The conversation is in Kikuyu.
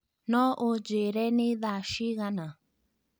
no ũnjĩĩre nĩ thaa cigana